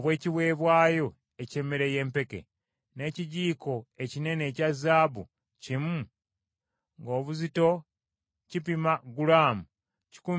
n’ekijiiko ekinene ekya zaabu kimu ng’obuzito kipima gulaamu kikumi mu kkumi nga kijjudde ebyakaloosa;